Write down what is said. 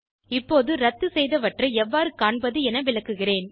இப்போது இரத்துசெய்தவற்றை எவ்வாறு காண்பது என விளக்குகிறேன்